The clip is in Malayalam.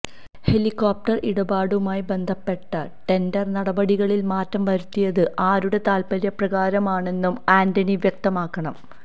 ഹെലിക്കോപ്റ്റര് ഇടപാടുമായി ബന്ധപ്പെട്ട ടെണ്ടര് നടപടികളില് മാറ്റം വരുത്തിയത് ആരുടെ താല്പ്പര്യപ്രകാരമാണെന്നും ആന്റണി വ്യക്തമാക്കണം